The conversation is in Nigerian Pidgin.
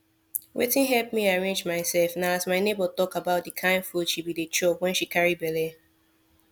wetin help me arrange myself na as my neighbor talk about de kind food she be dey chop when she carry belle